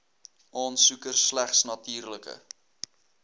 aansoeker slegs natuurlike